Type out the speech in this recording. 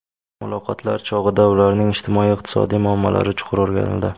Muloqotlar chog‘ida ularning ijtimoiy-iqtisodiy muammolari chuqur o‘rganildi.